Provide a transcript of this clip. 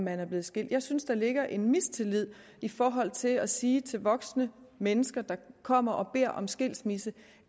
er blevet skilt jeg synes der ligger en mistillid i forhold til at sige til voksne mennesker der kommer og beder om skilsmisse